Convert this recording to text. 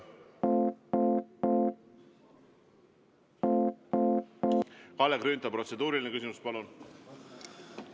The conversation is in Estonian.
Kalle Grünthal, protseduuriline küsimus, palun!